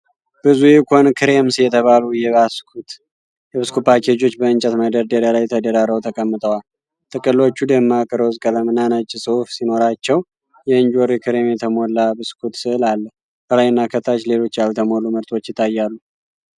ብዙ 'ኢኮን ክሬምስ' የተባሉ የብስኩት ፓኬጆች በእንጨት መደርደሪያ ላይ ተደራርበው ተቀምጠዋል። ጥቅሎቹ ደማቅ ሮዝ ቀለምና ነጭ ጽሑፍ ሲኖራቸው፣ የእንጆሪ ክሬም የተሞላ ብስኩት ሥዕል አለ። ከላይና ከታች ሌሎች ያልተለዩ ምርቶች ይታያሉ።